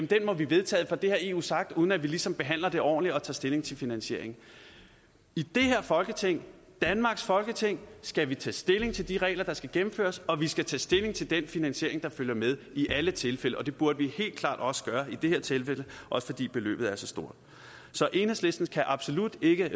den må vi vedtage for det har eu sagt uden at vi ligesom behandler det ordentligt og tager stilling til finansieringen i det her folketing danmarks folketing skal vi tage stilling til de regler der skal gennemføres og vi skal tage stilling til den finansiering der følger med i alle tilfælde og det burde vi helt klart også gøre i det her tilfælde også fordi beløbet er så stort så enhedslisten kan absolut ikke